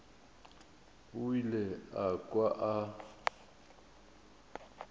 o ile a kwa a